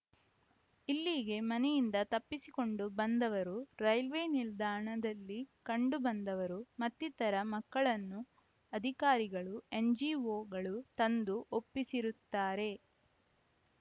ಇಲ್ಲಿಗೆ ಮನೆಯಿಂದ ತಪ್ಪಿಸಿಕೊಂಡು ಬಂದವರು ರೈಲ್ವೇ ನಿಲ್ದಾಣದಲ್ಲಿ ಕಂಡು ಬಂದವರು ಮತ್ತಿತರ ಮಕ್ಕಳನ್ನು ಅಧಿಕಾರಿಗಳು ಎನ್‌ಜಿಒಗಳು ತಂದು ಒಪ್ಪಿಸಿರುತ್ತಾರೆ